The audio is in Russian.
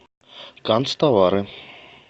канцтовары